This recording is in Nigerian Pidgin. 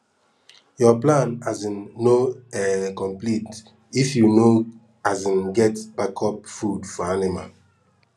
your plan um no um complete if you no um get backup food for anima